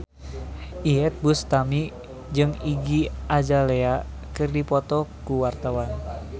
Iyeth Bustami jeung Iggy Azalea keur dipoto ku wartawan